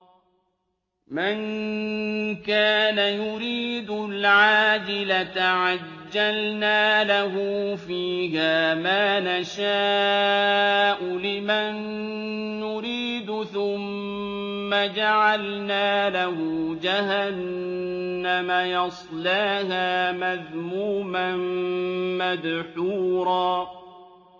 مَّن كَانَ يُرِيدُ الْعَاجِلَةَ عَجَّلْنَا لَهُ فِيهَا مَا نَشَاءُ لِمَن نُّرِيدُ ثُمَّ جَعَلْنَا لَهُ جَهَنَّمَ يَصْلَاهَا مَذْمُومًا مَّدْحُورًا